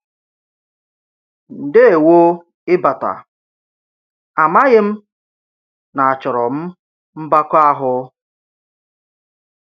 Ndewo màkà ịbata, amaghị m na-achọro m mbakọ àhụ́.